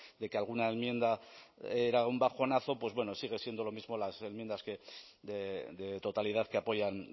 de que alguna enmienda era un bajonazo pues bueno sigue siendo lo mismo las enmiendas de totalidad que apoyan